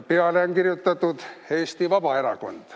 Peale on kirjutatud Eesti Vabaerakond.